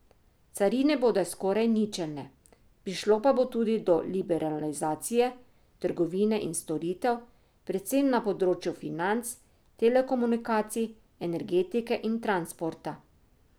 Carine bodo skoraj ničelne, prišlo pa bo tudi do liberalizacije trgovine in storitev, predvsem na področju financ, telekomunikacij, energetike in transporta.